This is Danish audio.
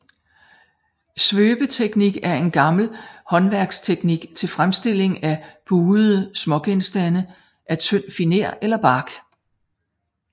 Svøbeteknik er en gammel håndværksteknik til fremstilling af buede smågenstande af tynd finer eller bark